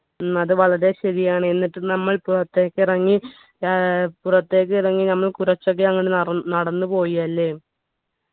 ഉം അത് വളരെ ശരിയാണ് എന്നിട്ട് നമ്മൾ പുറത്തേക്കിറങ്ങി ഏർ പുറത്തേക്കിറങ്ങി നമ്മൾ കുറച്ചൊക്കെ അങ്ങട് നറ നടന്നു പോയി അല്ലെ